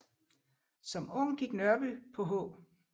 Som ung gik Nørby på H